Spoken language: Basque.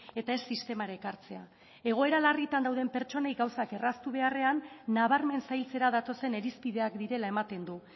eta ez sistemara ekartzea egoera larritan dauden pertsonei gauzak erraztu beharrean nabarmen zailtzera datozen irizpideak direla ematen du